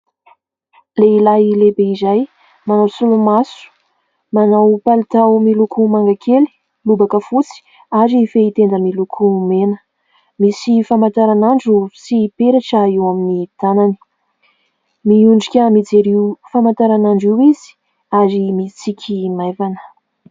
Lehilahy lehibe iray manao solomaso, manao palitao miloko manga kely, lobaka fotsy ary fehitenda miloko mena ; misy famantaranandro sy peratra eo amin'ny tanany ; miondrika mijery io famantaranandro io izy ary mitsiky maivana.